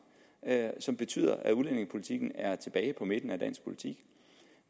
som betyder at udlændingepolitikken er kommet tilbage på midten af dansk politik